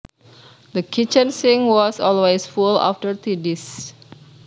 The kitchen sink was always full of dirty dishes